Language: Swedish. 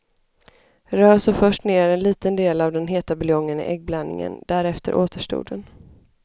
Rör så först ner en liten del av den heta buljongen i äggblandningen, därefter återstoden.